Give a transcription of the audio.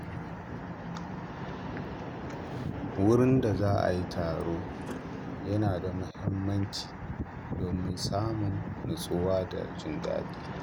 Wurin da za a yi taro yana da muhimmanci domin samun natsuwa da jin daɗi.